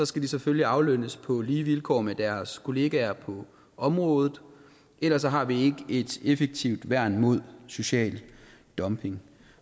skal de selvfølgelig aflønnes på lige vilkår med deres kollegaer på området ellers har vi ikke et effektivt værn mod social dumping